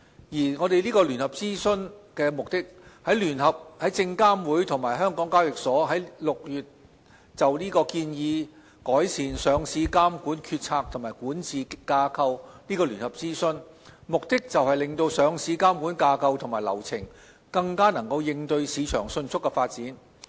證監會及港交所在今年6月就"建議改善香港聯合交易所有限公司的上市監管決策及管治架構"展開聯合諮詢，目的就是令上市監管架構及流程更能應對市場迅速的發展。